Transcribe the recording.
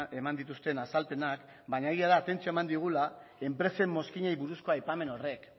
eman dituzten azalpenak baina egia da atentzioa eman digula enpresen mozkinei buruzko aipamen horrek